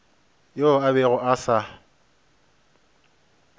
yoo a bego a sa